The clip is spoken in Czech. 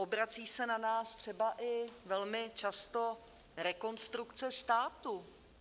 Obrací se na nás třeba i velmi často Rekonstrukce státu.